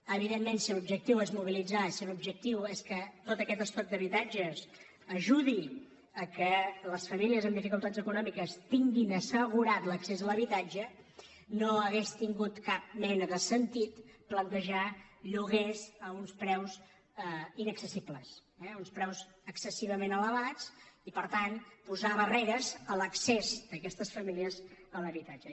evidentment si l’objectiu és mobilitzar si l’objectiu és que tot aquest estoc d’habitatges ajudi que les famílies amb dificultats econòmiques tinguin assegurat l’accés a l’habitatge no hauria tingut cap mena de sentit plantejar lloguers a uns preus inaccessibles eh uns preus excessivament elevats i per tant posar barreres a l’accés d’aquestes famílies a l’habitatge